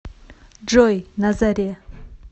джой на заре